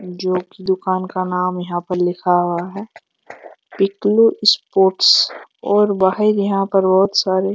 जो की दुकान का नाम यहां पर लिखा हुआ है पिकनिक स्पॉट्स बहुत सारे --